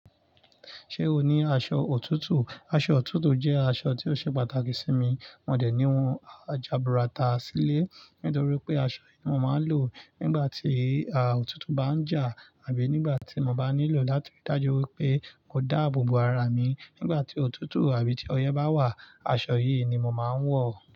Ṣé o ní aṣọ òtútù? Aṣọ òtútù jẹ́ aṣọ tí ó ṣe pàtàkì sí mi. Mo dẹ̀ ní wọ́n jà burata sílé, nítorí pé aṣọ yìí mo máa ń lò nígbà tí òtútù bá ń jà, tàbí nígbà tí mo bá nílò láti dájú wípé mò dáàbò bo ara mi. Nígbà tí òtútù àbí tí ọyẹ́ bá wà, aṣọ yìí ni mo máa ń wọ̀.